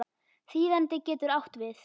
Þýðandi getur átt við